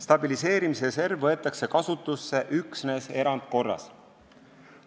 Stabiliseerimisreserv võetakse kasutusse üksnes erandkorras.